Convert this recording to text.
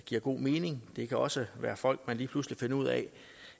giver god mening det kan også være folk man lige pludselig finder ud af